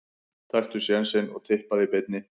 Taktu sénsinn og Tippaðu í beinni.